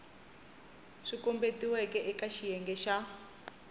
swi kombetiweke eka xiyenge xa